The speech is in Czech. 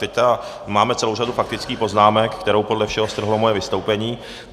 Teď máme celou řadu faktických poznámek, kterou podle všeho strhlo moje vystoupení.